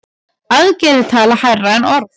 Aðgerðir tala hærra en orð.